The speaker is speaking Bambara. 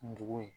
Ndugu ye